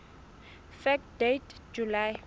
fact date july